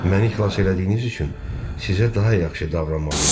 Məni xilas elədiyiniz üçün sizə daha yaxşı davranmalı idim.